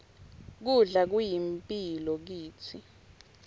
kudla kuyimphilo kitsi